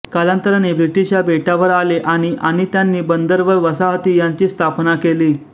कालांतराने ब्रिटिश या बेटावर आले आणि आणि त्यांनी बंदर व वसाहती यांची स्थापना केली